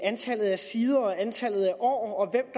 antallet af sider og antallet af år